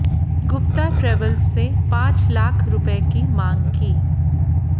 Gupta travels से पांच लाख रुपये की मांग की